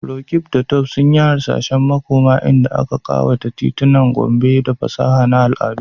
Roqeeb da Tope sun yi hasashen makoma inda aka kawata titunan Gombe da fasaha da al'adu.